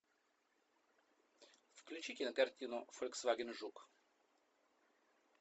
включи кинокартину фольксваген жук